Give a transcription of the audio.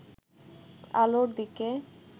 আলোর দিকে